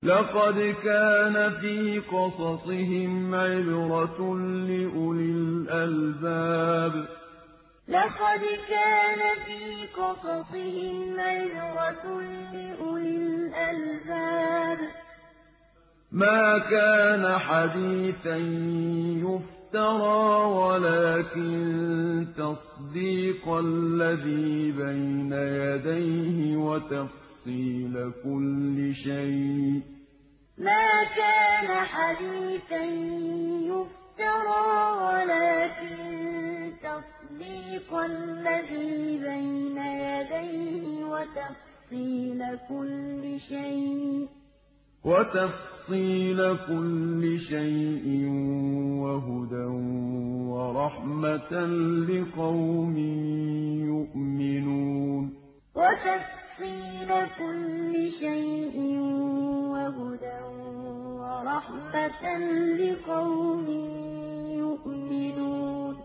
لَقَدْ كَانَ فِي قَصَصِهِمْ عِبْرَةٌ لِّأُولِي الْأَلْبَابِ ۗ مَا كَانَ حَدِيثًا يُفْتَرَىٰ وَلَٰكِن تَصْدِيقَ الَّذِي بَيْنَ يَدَيْهِ وَتَفْصِيلَ كُلِّ شَيْءٍ وَهُدًى وَرَحْمَةً لِّقَوْمٍ يُؤْمِنُونَ لَقَدْ كَانَ فِي قَصَصِهِمْ عِبْرَةٌ لِّأُولِي الْأَلْبَابِ ۗ مَا كَانَ حَدِيثًا يُفْتَرَىٰ وَلَٰكِن تَصْدِيقَ الَّذِي بَيْنَ يَدَيْهِ وَتَفْصِيلَ كُلِّ شَيْءٍ وَهُدًى وَرَحْمَةً لِّقَوْمٍ يُؤْمِنُونَ